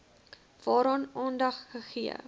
waaraan aandag gegee